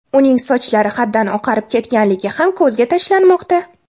Uning sochlari haddan oqarib ketganligi ham ko‘zga tashlanmoqda.